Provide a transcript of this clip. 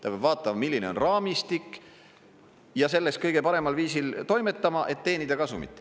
Ta peab vaatama, milline on raamistik, ja selles kõige paremal viisil toimetama, et teenida kasumit.